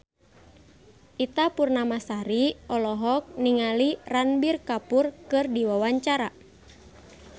Ita Purnamasari olohok ningali Ranbir Kapoor keur diwawancara